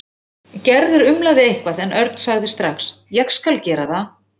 Gerður umlaði eitthvað en Örn sagði strax: Ég skal gera það.